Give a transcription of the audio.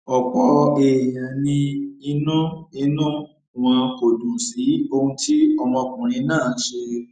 ọpọ èèyàn ni inú inú wọn kò dùn sí ohun tí ọmọkùnrin náà ṣe